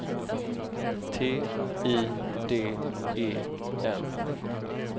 T I D E N